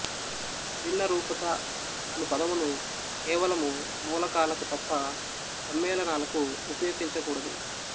భిన్నరూపత అను పదమును కేవలము మూలకాలకు తప్ప సమ్మేళనాలకు వుపయోగించకూడదు